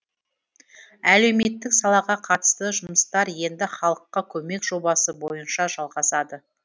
әлеуметтік салаға қатысты жұмыстар енді халыққа көмек жобасы бойынша жалағасады